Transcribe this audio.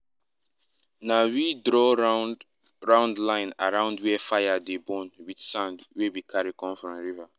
na we draw round-round line around where fire dey burn with sand wey we carry come from river.